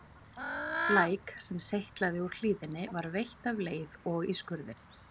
Læk, sem seytlaði úr hlíðinni var veitt af leið og í skurðinn.